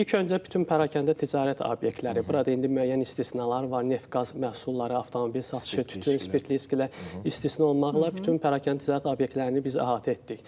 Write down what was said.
İlk öncə bütün pərakəndə ticarət obyektləri, burada indi müəyyən istisnalar var, neft, qaz məhsulları, avtomobil satış, tütün, spirtli içkilər istisna olmaqla bütün pərakəndə ticarət obyektlərini biz əhatə etdik.